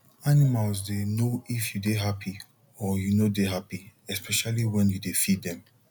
animal dey know if you dey happy or you no dey happy especially wen you dey feed dem